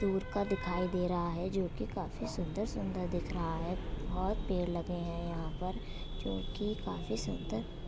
दूर का दिखाई दे रहा है जो कि काफी सुंदर-सुंदर दिख रहा है। बहुत पेड़ लगे हैं यहां पर जो कि काफी सुंदर --